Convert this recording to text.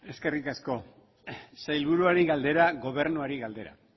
eskerrik asko sailburuari galdera gobernuari galdera